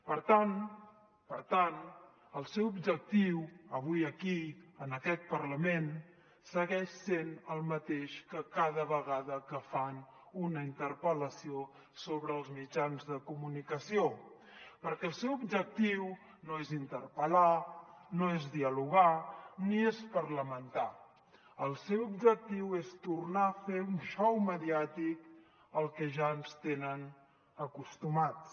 per tant per tant el seu objectiu avui aquí en aquest parlament segueix sent el mateix que cada vegada que fan una interpel·lació sobre els mitjans de comunicació perquè el seu objectiu no és interpel·lar no és dialogar ni és parlamentar el seu objectiu és tornar a fer un xou mediàtic al que ja ens tenen acostumats